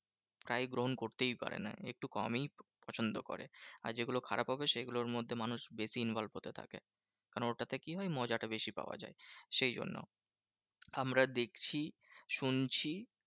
তাই গ্রহণ করতেই পারে না একটু কমই পছন্দ করে। আর যেগুলো খারাপ হবে সেগুলোর মধ্যে মানুষ বেশি involve হতে থাকে। কেন ওটাতে কি হয়? মজাটা বেশি পাওয়া যায় সেই জন্য। আমরা দেখছি শুনছি